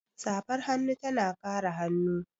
Safar hannu tana kare hannu.